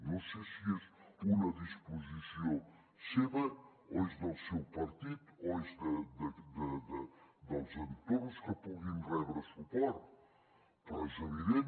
no sé si és una disposició seva o és del seu partit o és dels entorns que puguin rebre suport però és evident